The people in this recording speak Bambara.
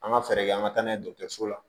An ka fɛɛrɛ kɛ an ka taa n'a ye dɔgɔtɔrɔso la